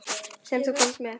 Sem þú komst með.